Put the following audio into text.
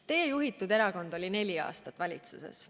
Teie juhitud erakond oli neli aastat valitsuses.